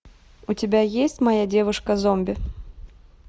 у тебя есть моя девушка зомби